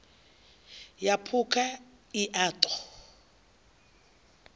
ya phukha i a ṱo